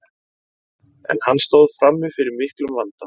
en hann stóð frammi fyrir miklum vanda